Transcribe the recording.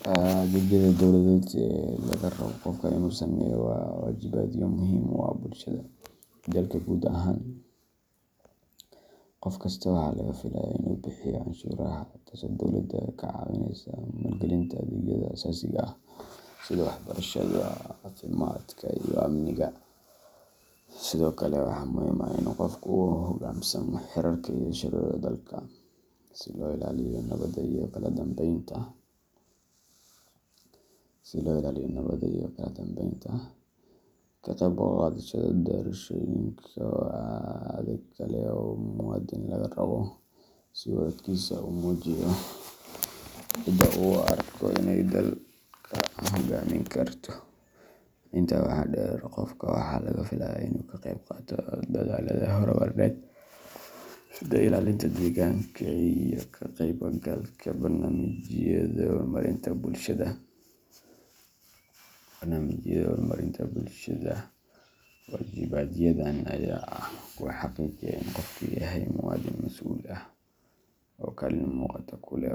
Adeegyada dowladeed ee laga rabo qofka inuu sameeyo waa waajibaadyo muhiim u ah bulshada iyo dalka guud ahaan. Qof kasta waxaa laga filayaa inuu bixiyo canshuuraha, taasoo dowladda ka caawisa maalgelinta adeegyada aasaasiga ah sida waxbarashada, caafimaadka, iyo amniga. Sidoo kale, waxaa muhiim ah in qofku uu u hogaansamo xeerarka iyo shuruucda dalka, si loo ilaaliyo nabadda iyo kala dambeynta. Ka qayb qaadashada doorashooyinka waa adeeg kale oo muwaadin laga rabo, si uu codkiisa ugu muujiyo cidda uu u arko inay dalka hoggaamin karto. Intaa waxaa dheer, qofka waxaa laga filayaa inuu ka qayb qaato dadaallada horumarineed sida ilaalinta deegaanka iyo ka qaybgalka barnaamijyada horumarinta bulshada. Waajibaadyadan ayaa ah kuwa xaqiijiya in qofku yahay muwaadin mas’uul ah oo kaalin muuqata ku leh